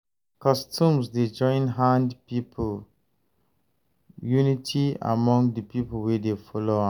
Customs dey join hand build unity among de pipo wey dey follow am.